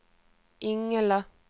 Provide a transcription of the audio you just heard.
Ingela